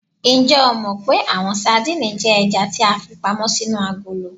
Njẹ o mọ pe awọn sadìnìnnì jẹ ẹja ti a fipamọ sinu akolo?